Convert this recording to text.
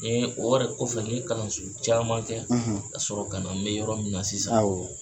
o yɛrɛ kɔfɛ n ye kalanso caaman kɛ ka sɔrɔ kana n bɛ yɔrɔ min na sisan. Awɔ.